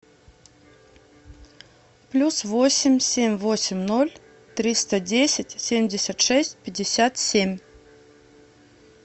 плюс восемь семь восемь ноль триста десять семьдесят шесть пятьдесят семь